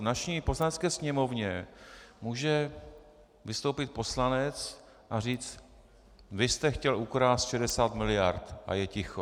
V naší Poslanecké sněmovně může vystoupit poslanec a říct: vy jste chtěl ukrást 60 miliard - a je ticho!